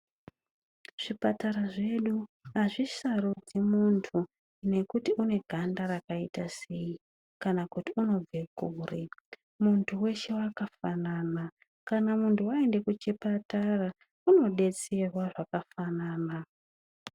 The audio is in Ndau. Zvipatara zvedu hazvisharudzi muntu nekuti une ganda rakaita sei kana kuti unobva kure. Muntu weshe wakafanana. Kana muntu waende kuchipatara, unodetserwa zvakafanana.